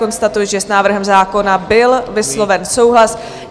Konstatuji, že s návrhem zákona byl vysloven souhlas.